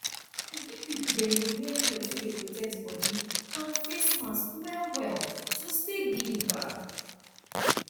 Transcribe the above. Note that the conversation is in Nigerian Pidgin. big people dem dey wear cloth wey dey protect body and face mask well well to stay gidigba